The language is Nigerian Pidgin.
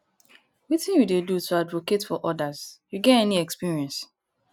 wetin you dey do to advocate for odas you get any experience